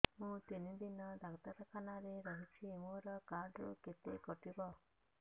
ମୁଁ ତିନି ଦିନ ଡାକ୍ତର ଖାନାରେ ରହିଛି ମୋର କାର୍ଡ ରୁ କେତେ କଟିବ